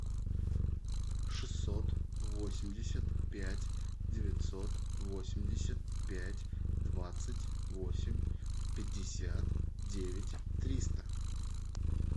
шестьсот восемьдесят пять девятьсот восемьдесят пять двадцать восемь пятьдесят девять триста